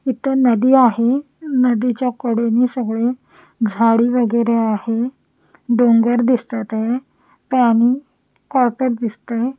इथं नदी आहे नदीच्या कडेने सगळे झाडी वगैरे आहे डोंगर दिसतात आहे पाणी कॉर्टर दिसतय.